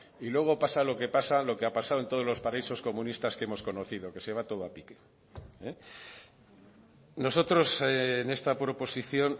y luego pasa lo que pasa lo que ha pasado en todos los paraísos comunistas que hemos conocido que se va todo a pique nosotros en esta proposición